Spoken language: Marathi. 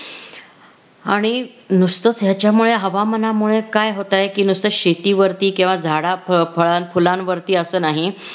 आणि नुसतंच ह्याच्यामुळे हवामानामुळे काय होतंय कि नुसतच शेतीवरती किंवा झाडा फळा फुलांवरती असं नाही